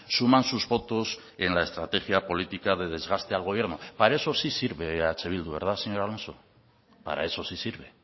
suman sus votos en la estrategia política de desgaste al gobierno para eso sí sirve eh bildu verdad señor alonso para eso sí sirve